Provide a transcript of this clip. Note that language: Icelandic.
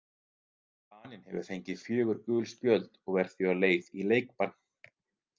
Daninn hefur fengið fjögur gul spjöld og er því á leið í leikbann.